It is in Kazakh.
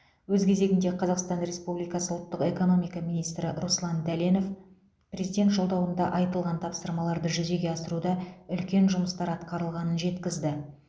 өз кезегінде қазақстан республикасы ұлттық экономика министрі руслан дәленов президент жолдауында айтылған тапсырмаларды жүзеге асыруда үлкен жұмыстар атқарылғанын жеткізді